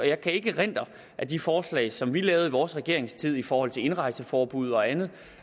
jeg kan ikke erindre at de forslag som vi lavede i vores regeringstid i forhold til indrejseforbud og andet